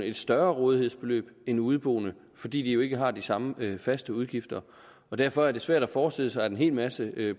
et større rådighedsbeløb end udeboende fordi de jo ikke har de samme faste udgifter derfor er det svært at forestille sig at en hel masse i